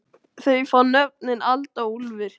Þau fá nöfnin Alda og Úlfur.